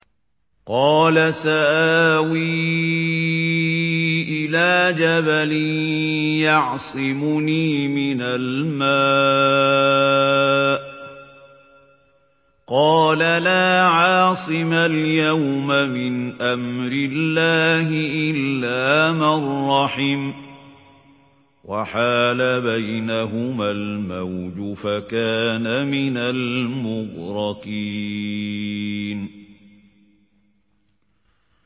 قَالَ سَآوِي إِلَىٰ جَبَلٍ يَعْصِمُنِي مِنَ الْمَاءِ ۚ قَالَ لَا عَاصِمَ الْيَوْمَ مِنْ أَمْرِ اللَّهِ إِلَّا مَن رَّحِمَ ۚ وَحَالَ بَيْنَهُمَا الْمَوْجُ فَكَانَ مِنَ الْمُغْرَقِينَ